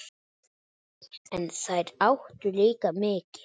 En þeir áttu líka mikið.